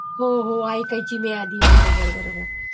हो हो ऐकायची मी आधी बरोबर बरोबर